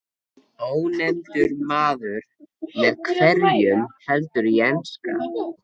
Ónefndur maður: Með hverjum heldurðu í enska?